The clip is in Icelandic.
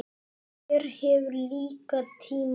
Hver hefur líka tíma?